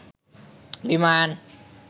বিমান